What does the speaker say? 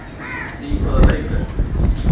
Í hvaða leik ertu?